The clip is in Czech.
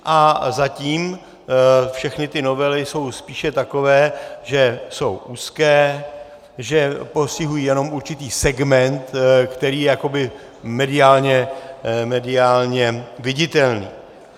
A zatím všechny ty novely jsou spíše takové, že jsou úzké, že postihují jenom určitý segment, který je jakoby mediálně viditelný.